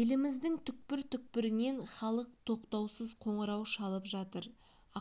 еліміздің түкпір-түкпірінен халық тоқтаусыз қоңырау шалып жатыр